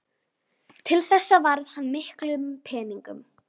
Til þessa varði hann miklum peningum.